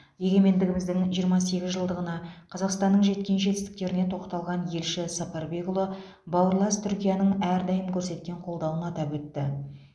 егемендігіміздің жиырма сегіз жылдығында қазақстанның жеткен жетістіктеріне тоқталған елші сапарбекұлы бауырлас түркияның әрдайым көрсеткен қолдауын атап өтті